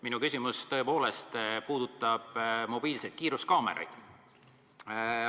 Minu küsimus puudutab tõepoolest mobiilseid kiiruskaameraid.